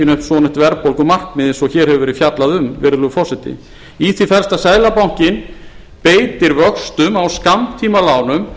upp svonefnt verðbólgumarkmið eins og hér hefur verið fjallað um virðulegur forseti í því felst að seðlabankinn beitir vöxtum á skammtímalánum